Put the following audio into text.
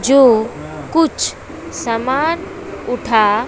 जो कुछ सामान उठा--